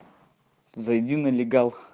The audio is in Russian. зайди на лигал